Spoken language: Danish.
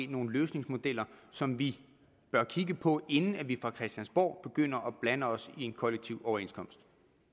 nogle løsningsmodeller som vi bør kigge på inden vi fra christiansborg begynder at blande os i en kollektiv overenskomst